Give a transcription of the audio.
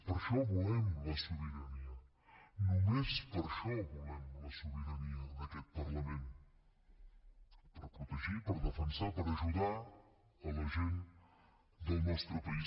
per això volem la sobirania nomes per això volem la sobirania d’aquest parlament per protegir per defensar per ajudar la gent del nostre país